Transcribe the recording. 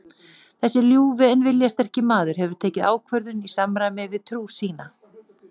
Þessi ljúfi en viljasterki maður hefur tekið ákvörðun í samræmi við trú sína.